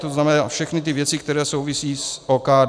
To znamená všechny ty věci, které souvisí s OKD.